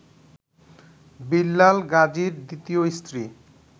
বিল্লাল গাজীর দ্বিতীয় স্ত্রী